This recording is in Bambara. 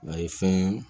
A ye fɛn ye